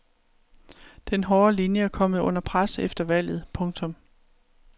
Den hårde linje er kommet under pres efter valget. punktum